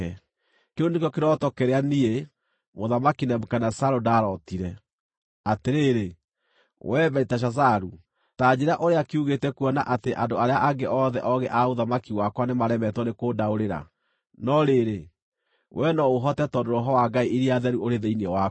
“Kĩu nĩkĩo kĩroto kĩrĩa niĩ, Mũthamaki Nebukadinezaru ndarootire. Atĩrĩrĩ, wee Beliteshazaru, ta njĩĩra ũrĩa kiugĩte kuona atĩ andũ arĩa angĩ othe oogĩ a ũthamaki wakwa nĩmaremetwo nĩkũndaũrĩra. No rĩrĩ, wee no ũhote tondũ roho wa ngai iria theru ũrĩ thĩinĩ waku.”